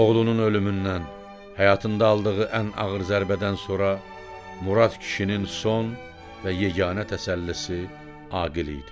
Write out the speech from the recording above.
Oğlunun ölümündən, həyatında aldığı ən ağır zərbədən sonra Murad kişinin son və yeganə təsəllisi Aqil idi.